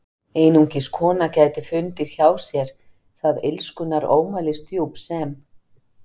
Einungis kona gæti fundið hjá sér það illskunnar ómælisdjúp sem